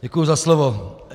Děkuji za slovo.